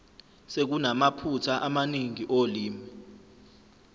sekunamaphutha amaningi olimi